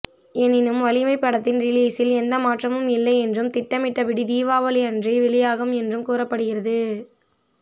எனினும் வலிமை படத்தின் ரிலிஸில் எந்த மாற்றமும் இல்லை என்றும் திட்டமிட்டபடி தீபாவளி அன்றே வெளியாகும் என்றும் கூறப்படுகிறது